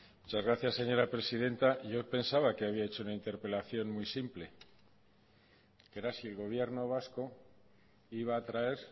muchas gracias señora presidenta yo pensaba que había hecho una interpelación muy simple era si el gobierno vasco iba a traer